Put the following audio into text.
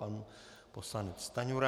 Pan poslanec Stanjura.